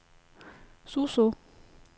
Suså